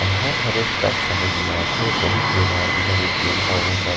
कहा खड़े तक समझ नई आत हे बहुत बेकार दिखत हे पेड़ पौधा --